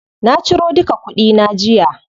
Na ciro duka kuɗi na jiya.